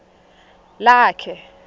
lakhe